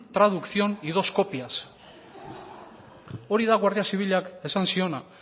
traducción y dos copias hori da guardia zibilak esan ziona